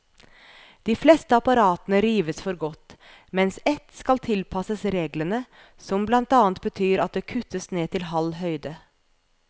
De fleste apparatene rives for godt, mens ett skal tilpasses reglene, som blant annet betyr at det kuttes ned til halv høyde.